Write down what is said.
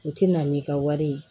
U ti na n'i ka wari ye